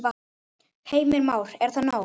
Heimir Már: Er það nóg?